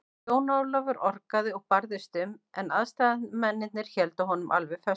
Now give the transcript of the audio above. Jón Ólafur orgaði og barðist um, en aðstoðarmennirnir héldu honum alveg föstum.